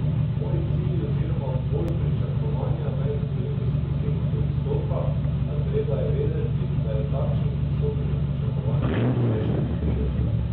Moji cilji oziroma bolj pričakovanja pred olimpijsko zimo so visoka, a treba je vedeti, da je takšnih z visokimi pričakovanji vsaj še trideset.